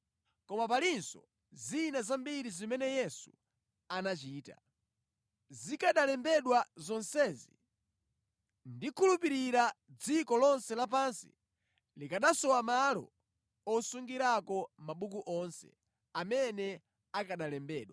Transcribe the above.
Koma palinso zina zambiri zimene Yesu anachita. Zikanalembedwa zonsezi, ndikhulupirira dziko lonse lapansi likanasowa malo osungirako mabuku onse amene akanalembedwa.